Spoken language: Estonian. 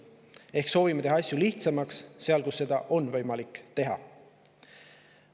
Ehk siis me soovime teha asju lihtsamaks seal, kus seda on võimalik teha.